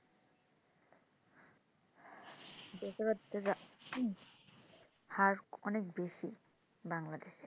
বেকারত্বের হার অনেক খুব বেশি বাংলাদেশে,